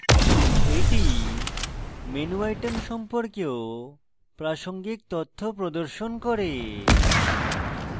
এটি menu items সম্পর্কেও প্রাসঙ্গিক তথ্য প্রদর্শন করে